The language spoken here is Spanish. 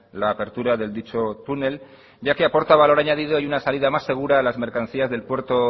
la apertura del dicho túnel ya que aporta valor añadido y una salida más segura de las mercancías del puerto